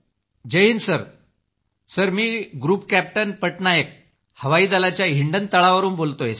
group captain sir Jai Hind sir मी group captain Patnaik हवाई दलाच्या हिंडन तळावरून बोलतोय